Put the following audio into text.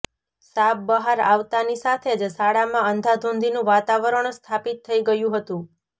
સાપ બહાર આવતાની સાથે જ શાળામાં અંધાધૂંધીનું વાતાવરણ સ્થાપિત થઈ ગયું હતું